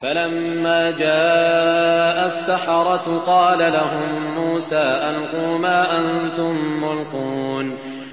فَلَمَّا جَاءَ السَّحَرَةُ قَالَ لَهُم مُّوسَىٰ أَلْقُوا مَا أَنتُم مُّلْقُونَ